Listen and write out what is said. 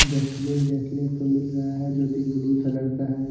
Dustbin देखने को मिल रहा है जो कि ब्लू कलर का है।